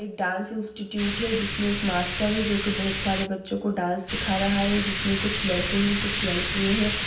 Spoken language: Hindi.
एक डांस इंस्टिट्यूट है जिसमे एक मास्टर है जो की बहुत सारे बच्चों को डांस सीखा रहा है जिसमे कुछ लड़के है कुछ लड़की है |